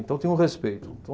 Então tinha um respeito.